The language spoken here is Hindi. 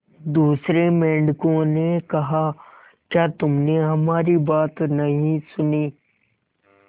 दूसरे मेंढकों ने कहा क्या तुमने हमारी बात नहीं सुनी